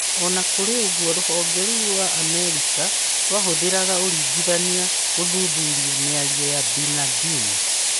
Ona kũrĩ ũguo, rũhonge rũu rwa Amerika rwahũthagĩra ũringithania gũthuthuria mĩario ya Bin Ladin.